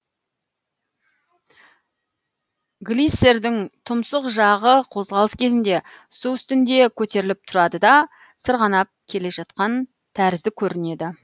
глиссердің тұмсық жағы қозғалыс кезінде су үстінде көтеріліп тұрады да сырғанап келе жатқан тәрізді көрінеді